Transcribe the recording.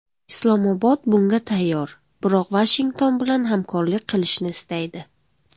Islomobod bunga tayyor, biroq Vashington bilan hamkorlik qilishni istaydi”.